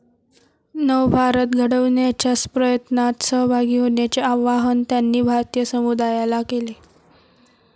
नवभारत घडवण्याच्या प्रयत्नात सहभागी होण्याचे आवाहन त्यांनी भारतीय समुदायाला केले.